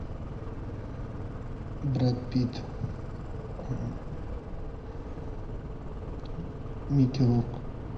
брэд питт микки рурк